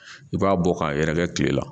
I b'a bɔ k'a yɛrɛkɛ tile la